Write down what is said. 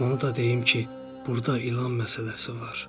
Onu da deyim ki, burda ilan məsələsi var.